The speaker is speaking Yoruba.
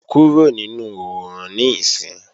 Kúrò nínú oòrùn níìsín!